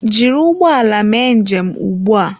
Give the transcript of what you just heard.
Jiri ụgbọ ala mee njem ugbu a!